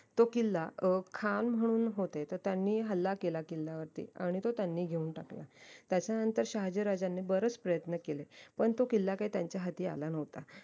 तो किल्ला अं खान म्हणून होते तर त्यांनी हल्ला केला किल्ल्यावरती आणि तो त्यांनी घेऊन टाकला त्याच्यानंतर शाहजीराज्यांनी बरेच प्रयत्न केले पण तो किल्ला काय त्यांचा हाती आला नव्हता